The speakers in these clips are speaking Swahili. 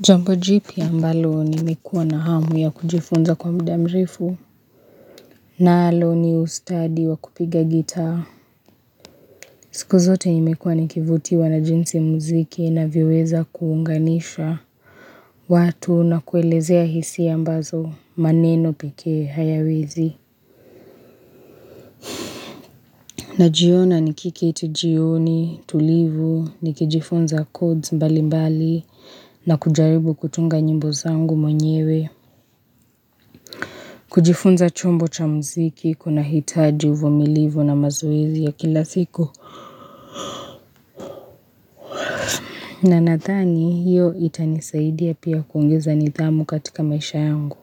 Jambo jipya mbalo nimekuwa na hamu ya kujifunza kwa mdamrefu nalo ni ustadi wa kupiga gita. Siku zote nimekuwa nikivutiwa na jinsi muziki unavyo weza kuunganishwa watu na kuelezea hisi ambazo maneno pekee hayawezi. Najiona nikikiti jioni tulivu nikijifunza codes mbali mbali na kujaribu kutunga njimbo zangu mwenyewe. Kujifunza chombo cha mziki kuna hitaji uvumilivu na mazowezi ya kila siku. Na natani hiyo itanisaidia pia kuungeza nithamu katika maisha yangu.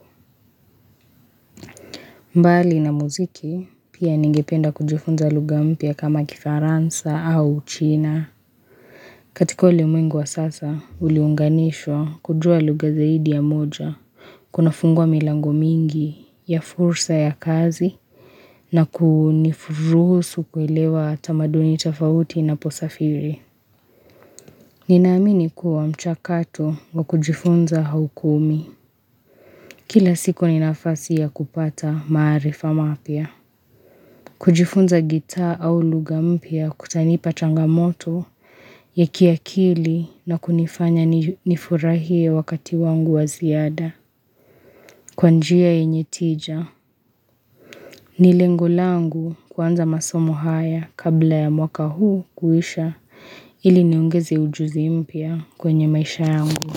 Mbali na mziki pia ningipenda kujifunza luga mpya kama kifaransa au china. Katiko ulimwengu wa sasa uliunganishwa kujua luga zaidi ya moja. Kuna fungwa milango mingi ya fursa ya kazi na kuniruhusu kwelewa tamaduni tafauti na posafiri. Ninaamini kuwa mchakato wa kujifunza haukomi. Kila siku ninafasi ya kupata marifa mapia. Kujifunza gita au lugampya kutanipa changamoto ya kiakili na kunifanya nifurahie wakati wangu waziada. Kwanjia yenyetija. Ni lengo langu kuanza masomo haya kabla ya mwaka huu kuisha ili niongezi ujuzi mpya kwenye maisha yangu.